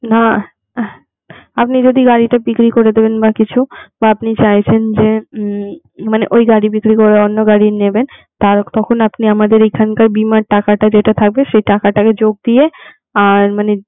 না আপনি যদি গাড়িটা বিক্রি করে দেবেন বা কিছু তা আপনি চাইছেন যে মানে ওই গাড়ি বিক্রি করে অন্য গাড়ি নেবেন তার তখন আপনি আমাদের এখানকার বীমার টাকাটা যেটা থাকবে সেই টাকাটাকে যোগ দিয়ে আর মানে